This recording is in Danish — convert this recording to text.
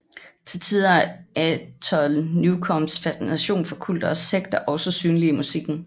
Til tider er Anton Newcombes fascination for kulter og sekter også synlig i musikken